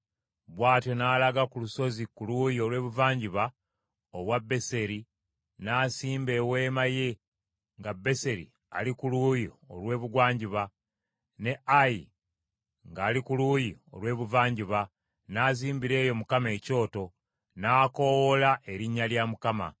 Bw’atyo n’alaga ku lusozi ku luuyi olw’ebuvanjuba obwa Beseri, n’asimba eweema ye nga Beseri ali ku luuyi olw’ebugwanjuba, ne Ayi ngali ku luuyi olw’ebuvanjuba, n’azimbira eyo Mukama ekyoto, n’akoowoola erinnya lya Mukama .